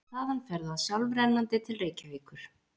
Þaðan fer það sjálfrennandi til Reykjavíkur.